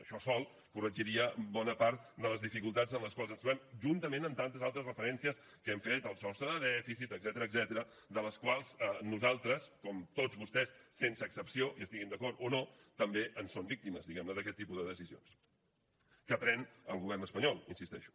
això sol corregiria bona part de les dificultats en les quals ens trobem juntament amb tantes altres referències que hem fet al sostre de dèficit etcètera de les quals nosaltres com tots vostès sense excepció hi estiguin d’acord o no també en són víctimes diguem ne d’aquest tipus de decisions que pren el govern espanyol hi insisteixo